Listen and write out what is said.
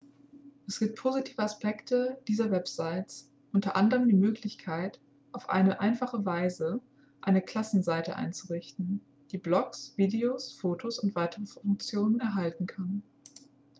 es gibt positive aspekte dieser websites unter anderem die möglichkeit auf einfache weise eine klassenseite einzurichten die blogs videos fotos und weitere funktionen enthalten kann